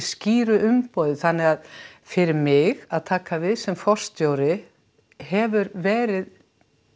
skýru umboði þannig að fyrir mig að taka við sem forstjóri hefur verið